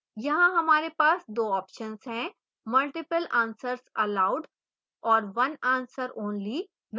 यहाँ हमारे पास 2 options हैं multiple answers allowed और one answer only